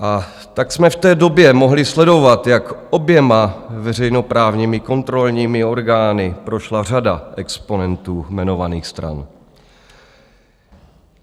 A tak jsme v té době mohli sledovat, jak oběma veřejnoprávními kontrolními orgány prošla řada exponentů jmenovaných stran.